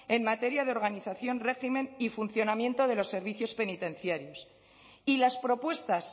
en materia de organización régimen y funcionamiento de los servicios penitenciarios y las propuestas